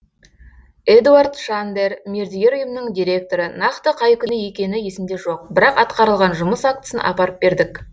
эдуард шандер мердігер ұйымның директоры нақты қай күні екені есімде жоқ бірақ атқарылған жұмыс актісін апарып бердік